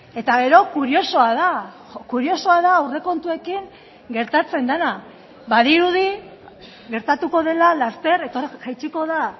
eta gero kuriosoa da kuriosoa da aurrekontuekin gertatzen dena badirudi gertatuko dela laster jaitsiko da